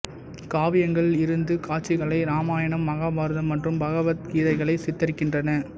காவியங்கள் இருந்து காட்சிகளை ராமாயணம் மகாபாரதம் மற்றும் பகவத கதைகளை சித்தரிக்கின்றன